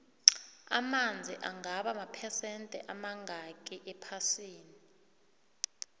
amanzi angaba maphesende amangakhi ephasini